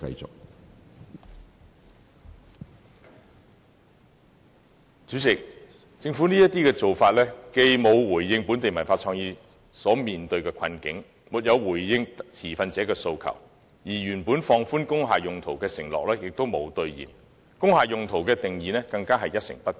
主席，政府未有回應本地文化創意產業所面對的困境及持份者的訴求，亦未有兌現放寬工廈用途的承諾，對工廈用途的定義亦一成不變。